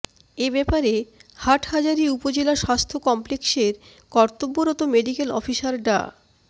এব্যাপারে হাটহাজারী উপজেলা স্বাস্থ্য কমপ্লেক্সের কর্তব্যরত মেডিকেল অফিসার ডা